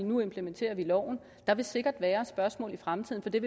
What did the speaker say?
nu implementeres loven der vil sikkert være spørgsmål i fremtiden så det